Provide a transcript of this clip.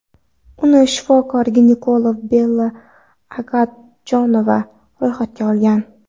Uni shifokor-ginekolog Bella Agadjonova ro‘yxatga olgan.